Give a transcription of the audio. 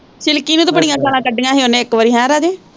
Silky ਨੂੰ ਤੇ ਬੜੀਆ ਗਾਲਾਂ ਕੱਢੀਆ ਹੀ ਓਨੇ ਇੱਕ ਵਾਰੀ, ਹੈਅ ਰਾਜੇ।